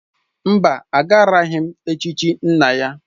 Mba, agaraghị m echichi nna ya.